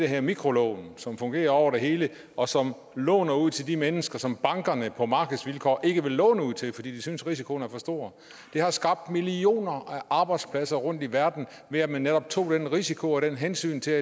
her mikrolån som fungerer over det hele og som låner ud til de mennesker som bankerne på markedsvilkår ikke vil låne ud til fordi de synes at risikoen er for stor det har skabt millioner af arbejdspladser rundt i verden ved at man netop tog den risiko og det hensyn til